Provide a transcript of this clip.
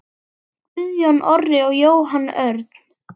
Guðjón Orri og Jóhann Örn.